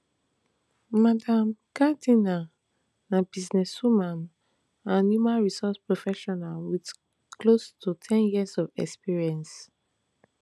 madam gardiner na businesswoman and human resource professional wit close to ten years of experience